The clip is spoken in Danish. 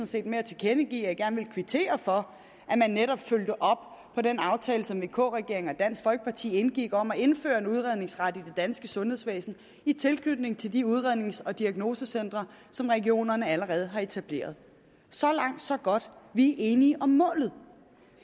set med at tilkendegive at jeg gerne ville kvittere for at man netop fulgte op på den aftale som vk regeringen og dansk folkeparti indgik om at indføre en udredningsret i det danske sundhedsvæsen i tilknytning til de udrednings og diagnosecentre som regionerne allerede har etableret så langt så godt vi er enige om målet